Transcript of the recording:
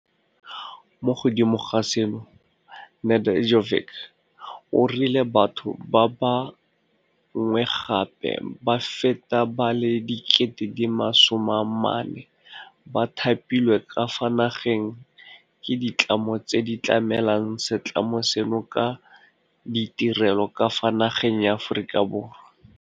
Mo godimo ga seno, Nede ljkovic o rile batho ba ba ngwe gape ba feta ba le 40 000 ba thapilwe ka fa nageng ke ditlamo tse di tlamelang se tlamo seno ka ditirelo ka fa nageng ya Aforika Borwa.